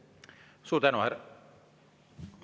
Suur tänu!